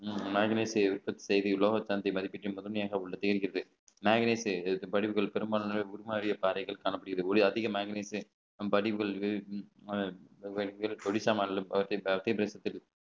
மேக்னைட்தேவை உற்பத்தி தேவை உலோகத்தின் முதன்மையாக உள்ளது மேக்னைட் பெரும்பாலானவை உருமாறிய பாதைகள் காணப்படுகிறது அதிகமாக நினைத்து நம் பதிவுகள் ஒடிஷா மாநிலம்